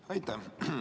Aitäh!